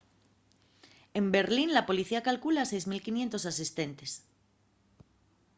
en berlín la policía calcula 6.500 asistentes